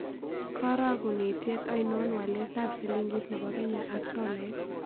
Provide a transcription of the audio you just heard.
Karogunitiet ainon walaetap silingit ne po kenya ak tolait